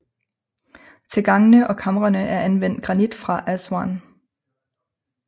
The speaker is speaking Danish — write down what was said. Til gangene og kamrene er anvendt granit fra Aswan